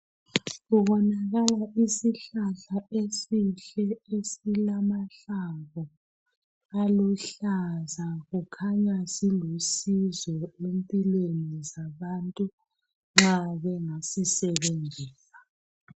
Kubonakala isihlahla esihle , esilamahlamvu aluhlaza. Kukhanya silusizo empilweni zabantu nxa bengasisebenzisa.